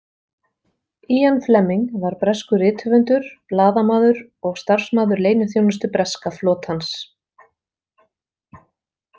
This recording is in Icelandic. Ian Fleming var breskur rithöfundur, blaðamaður og starfsmaður leyniþjónustu breska flotans.